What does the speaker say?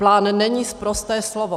Plán není sprosté slovo.